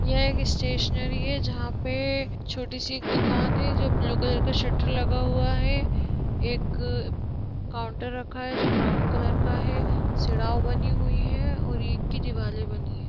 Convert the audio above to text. यह एक स्टेशनरी है जहां पे छोटी सी एक दुकान है जो ब्लू कलर का शटर लगा हुआ है एक काउंटर रखा है जो ब्राउन कलर का है सिडाउ बनी हुई है और ईट की दीवाले बनी है।